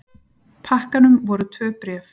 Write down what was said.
pakkanum voru tvö bréf.